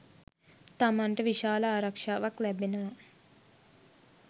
තමන්ට විශාල ආරක්ෂාවක් ලැබෙනවා.